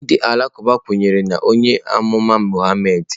Ndị Alakụba kwenyere na onye amụma Muhammad.